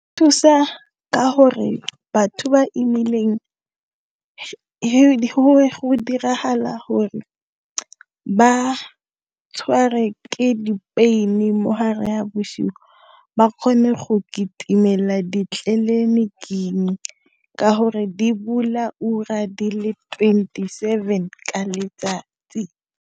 Thusa ka hore batho imileng diragala gore ba tshwarwe ke di-pain-i mo hare ha boshigo ba kgone go kitimela ditleliniking ka gore di bula di ura di le twenty-seven ka letsatsi.